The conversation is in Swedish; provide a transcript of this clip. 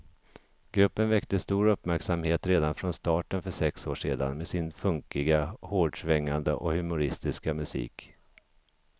Gruppen väckte stor uppmärksamhet redan från starten för sex år sedan med sin funkiga, hårdsvängande och humoristiska musik.